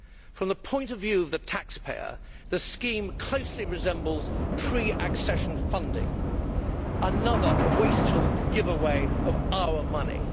From the point of view of the taxpayer, the scheme closely resembles pre accession funding, another wasteful giveaway of our money.